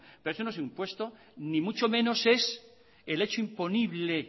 pero eso no es un impuesto ni mucho menos es el hecho imponible